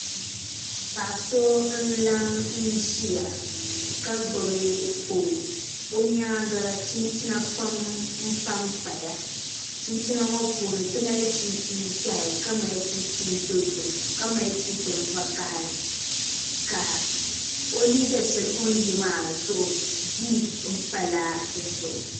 Paɣi so n la ʒia ka gbubi fɔn o nyaaŋa chinchina n panpaya chinchina ŋɔ puuni timali chichin ʒɛhi ka mali chinchin dozim kamali chinchin vakahalika oliiga shɛli o ni ye maa ziipi pala dizuɣu